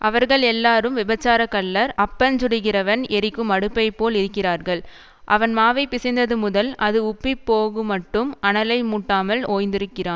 அவர்கள் எல்லாரும் விபசாரக்கள்ளர் அப்பஞ்சுடுகிறவன் எரிக்கும் அடுப்பைப்போல் இருக்கிறார்கள் அவன் மாவைப் பிசைந்ததுமுதல் அது உப்பிப் போகுமட்டும் அனலை மூட்டாமல் ஓய்ந்திருக்கிறான்